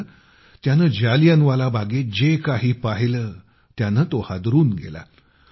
मात्र त्याने जालियनवाला बागेत जे काही पाहिले त्याने तो हादरून गेला